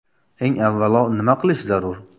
Eng avvalo nima qilish zarur?